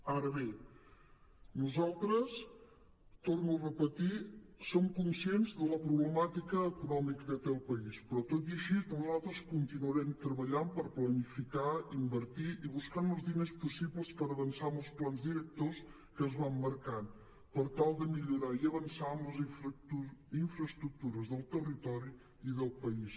ara bé nosaltres ho torno a repetir som conscients de la problemàtica econòmica que té el país però tot i així nosaltres continuarem treballant per planificar invertir i buscar els diners possibles per avançar en els plans directors que es van marcant per tal de millorar i avançar en les infraestructures del territori i del país